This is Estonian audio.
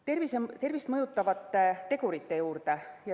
Nüüd tervist mõjutavate tegurite juurde.